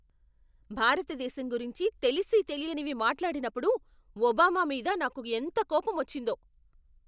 భారతదేశం గురించి తెలిసీ తెలియనివి మాట్లాడినప్పుడు ఒబామా మీద నాకు ఎంత కోపమొచ్చిందో.